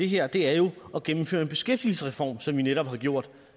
her er jo at gennemføre en beskæftigelsesreform som vi netop har gjort